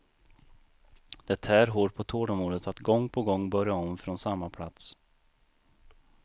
Det tär hårt på tålamodet att gång på gång börja om från samma plats.